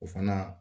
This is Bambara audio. O fana